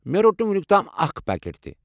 مےٚ رۄٹ نہٕ وۄنِیُک تام اكھ پاكیٹ تہِ ۔